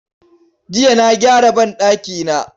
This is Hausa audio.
Jiya na gyara banɗakina.